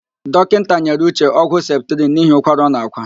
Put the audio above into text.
Dọkịnta nyere Uche ọgwụ septrịn n'ihi ụkwara ọ na-ákwà.